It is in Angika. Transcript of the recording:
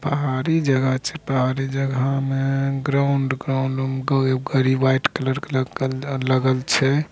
पहाड़ी जगह छे पहाड़ी जगह मे ग्राउंड वाइट कलर लगल छे |